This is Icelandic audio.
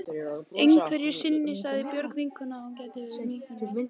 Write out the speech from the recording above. Einhverju sinni sagði Björg vinkona að ég gætti mín of mikið.